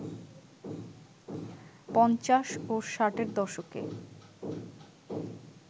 পঞ্চাশ ও ষাটের দশকে